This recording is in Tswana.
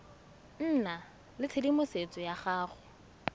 nna le tshedimosetso ya go